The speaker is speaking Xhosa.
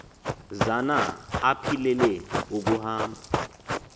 zana aphilele ukuhamba